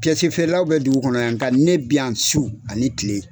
feerelaw bɛ dugu kɔnɔ yan, nka ne bi yan su ani tile.